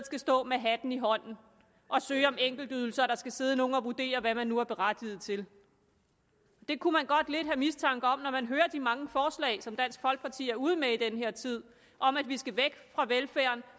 skal stå med hatten i hånden og søge om enkeltydelser hvor nogle skal sidde og vurdere hvad man nu er berettiget til det kunne man godt lidt have mistanke om når man hører de mange forslag som dansk folkeparti er ude med i den her tid om at vi skal væk fra velfærden